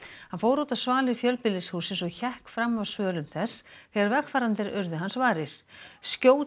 hann fór út á svalir fjölbýlishússins og hékk fram af svölum þess þegar vegfarendur urðu hans varir skjót